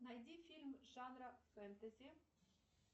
найди фильм жанра фэнтези